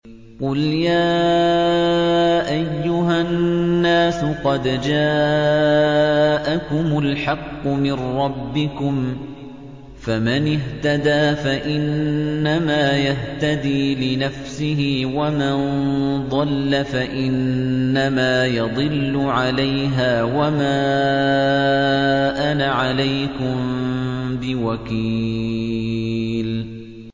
قُلْ يَا أَيُّهَا النَّاسُ قَدْ جَاءَكُمُ الْحَقُّ مِن رَّبِّكُمْ ۖ فَمَنِ اهْتَدَىٰ فَإِنَّمَا يَهْتَدِي لِنَفْسِهِ ۖ وَمَن ضَلَّ فَإِنَّمَا يَضِلُّ عَلَيْهَا ۖ وَمَا أَنَا عَلَيْكُم بِوَكِيلٍ